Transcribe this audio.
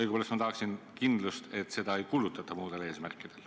Õigupoolest tahaksin ma kindlust, et seda ei kulutata muudel eesmärkidel.